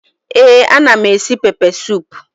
Ee anam esi pepe sup